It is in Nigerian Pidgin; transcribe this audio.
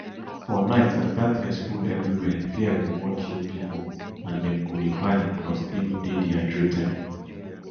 for night as darkness full evriwia fear go wan kill pipo and dem go dey panic plus even dey dehydrated